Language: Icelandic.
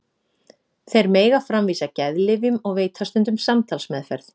Þeir mega framvísa geðlyfjum og veita stundum samtalsmeðferð.